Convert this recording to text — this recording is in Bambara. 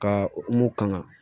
Ka mun kan